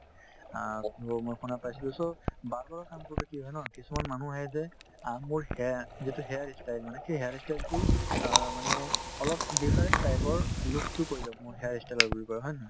অ, মই শুনা পাইছিলো so barber ৰৰ কাম কৰোতে কি হয় ন কিছুমান মানুহ আহে যে অ মোৰ hain যিটো hair ই style মানে সেই hair ই style তো অ মানে অলপ different type ৰ looks তো কৰি দিয়ক মোৰ hair ই style ৰ বুলি কই হয় নে নহয়